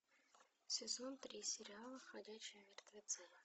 сезон три сериала ходячие мертвецы